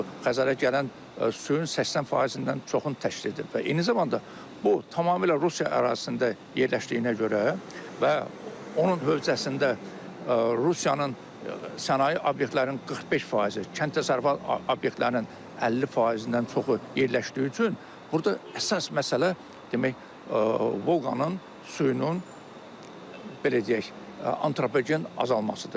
O Xəzərə gələn suyun 80%-dən çoxunu təşkil edir və eyni zamanda bu tamamilə Rusiya ərazisində yerləşdiyinə görə və onun hövzəsində Rusiyanın sənaye obyektlərinin 45%-i, kənd təsərrüfatı obyektlərinin 50%-dən çoxu yerləşdiyi üçün burda əsas məsələ demək, Volqanın suyunun belə deyək, antropogen azalmasıdır.